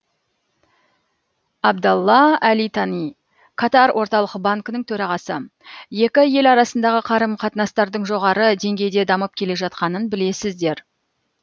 абдалла әли тани катар орталық банкінің төрағасы екі ел арасындағы қарым қатынастардың жоғары деңгейде дамып келе жатқанын білесіздер